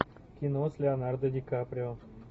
кино с леонардо ди каприо